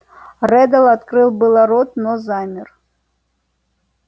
реддл открыл было рот но замер